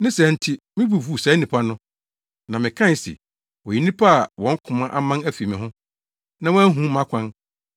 Ne saa nti me bo fuw saa nnipa no, na mekae se, ‘Wɔyɛ nnipa a wɔn koma aman afi me ho, na wɔanhu mʼakwan.’